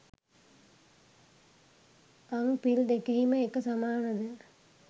අං පිල් දෙකෙහිම එක සමානද